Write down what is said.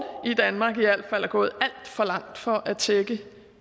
i danmark i al fald er gået alt for langt for at tækkes